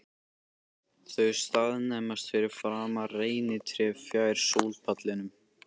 Þau staðnæmast fyrir framan reynitréð fjær sólpallinum.